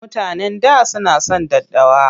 Mutanen da suna son daddawa.